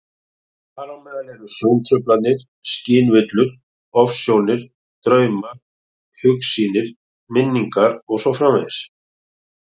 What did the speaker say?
Þar á meðal eru sjóntruflanir, skynvillur, ofsjónir, draumar, hugsýnir, minningar og svo framvegis.